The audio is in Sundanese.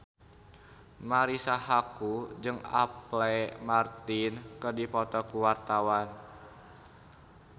Marisa Haque jeung Apple Martin keur dipoto ku wartawan